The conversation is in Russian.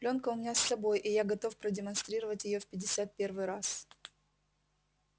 плёнка у меня с собой и я готов продемонстрировать её в пятьдесят первый раз